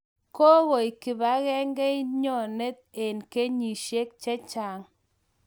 kogoeng kipagengeinyonet en kenyisieg chechang